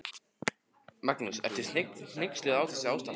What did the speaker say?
Magnús: Ertu hneyksluð á þessu ástandi?